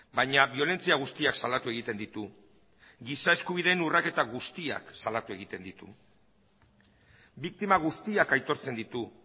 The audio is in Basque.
baina biolentzia guztiak salatu egiten ditu giza eskubideen urraketa guztiak salatu egiten ditu biktima guztiak aitortzen ditu